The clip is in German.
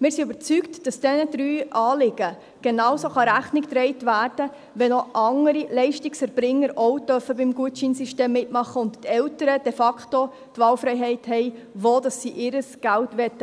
Wir sind überzeugt, dass diesen drei Anliegen genauso Rechnung getragen werden kann, wenn weitere Leistungserbringer ebenfalls beim Gutscheinsystem mitmachen dürfen und die Eltern de facto die Wahlfreiheit haben, wo sie ihr Geld